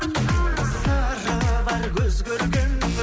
сыры бар көз көргеннің